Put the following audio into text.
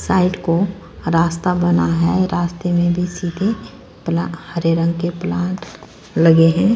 Side को रास्ता बना है रास्ते में भी सीधे प्ला हरे रंग के प्लांट लगे हैं।